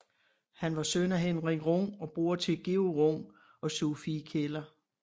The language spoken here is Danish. Han var søn af Henrik Rung og bror til Georg Rung og Sophie Keller